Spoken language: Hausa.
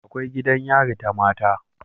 Akwai gidan yari ta mata